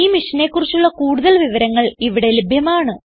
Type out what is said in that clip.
ഈ മിഷനെ കുറിച്ചുള്ള കുടുതൽ വിവരങ്ങൾ ഇവിടെ ലഭ്യമാണ്